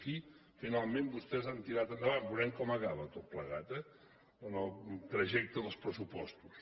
aquí finalment vostès han tirat endavant veurem com acaba tot plegat eh en el trajecte dels pressupostos